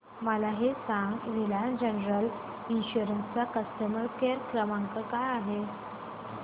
मला हे सांग रिलायन्स जनरल इन्शुरंस चा कस्टमर केअर क्रमांक काय आहे